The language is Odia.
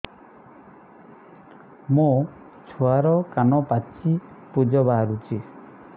ମୋ ଛୁଆର କାନ ପାଚି ପୁଜ ବାହାରୁଛି